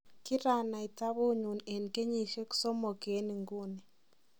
Kiranai tabuunyun en keyisiek somok en inguni.